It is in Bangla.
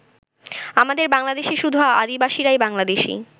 আমাদের বাংলাদেশে শুধু আদিবাসীরাই বাংলাদেশি।